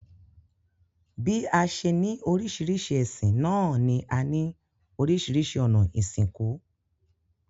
Bí a se ní oríṣiríṣi ẹ̀sìn náà ní a ní oríṣiríṣi ònà ìsìnkú